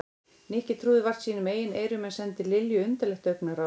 Nikki trúði vart sínum eigin eyrum en sendi Lilju undarlegt augnaráð.